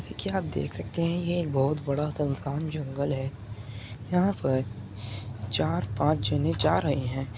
से कि आप देख सकते हैं कि ये एक बहुत बड़ा सुनसान जंगल है। यहाँ पर चार पांच जने जा रहे हैं।